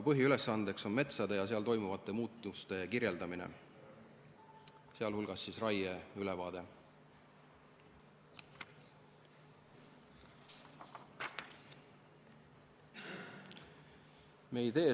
Põhiülesandeks on metsade ja seal toimuvate muutuste kirjeldamine, sh raieülevaate koostamine.